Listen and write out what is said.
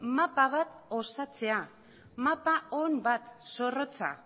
mapa bat osatzea mapa on bat zorrotza